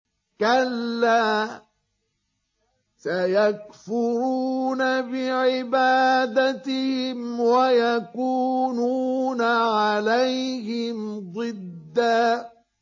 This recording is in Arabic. كَلَّا ۚ سَيَكْفُرُونَ بِعِبَادَتِهِمْ وَيَكُونُونَ عَلَيْهِمْ ضِدًّا